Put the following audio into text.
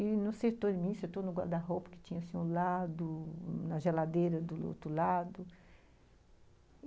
E não acertou em mim, acertou no guarda-roupa, que tinha assim um lado, na geladeira do outro lado.